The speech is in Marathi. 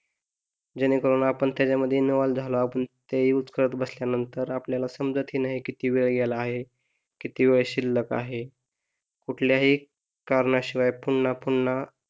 जेणे करून आपण त्यामध्ये इन्व्हॉल्व्ह झालो आपण ते यूज करत बसल्या नंतर आपल्याला समजत नाही कि किती वेळ गेला आहे, किती वेळ शिल्लक आहे कुठल्याही कारणाशिवाय फोन पुन्हा पुन्हा,